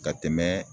Ka tɛmɛ